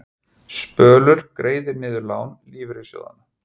Spölur greiðir niður lán lífeyrissjóðanna